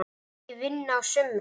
Hún megi vinna á sumrin.